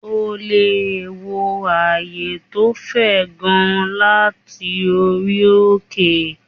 O lè wo ààyè to fe gan láti orí òkè